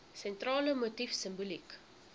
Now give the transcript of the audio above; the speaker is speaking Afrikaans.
sentrale motief simboliek